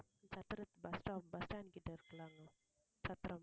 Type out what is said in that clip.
சத்திரத்~ bus stop bus stand கிட்ட இருக்குல்ல அங்க சத்திரம்